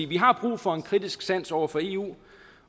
vi har brug for en kritisk sans over for eu